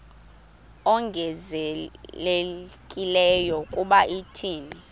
ongezelelekileyo kuba thina